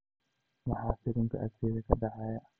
maxaa filimka agteyda ka dhacaya